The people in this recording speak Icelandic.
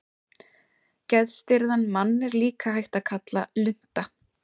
Geðstirðan mann er líka hægt að kalla lunta.